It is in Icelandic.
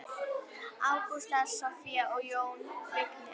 Ágústa, Soffía og Jón Vignir.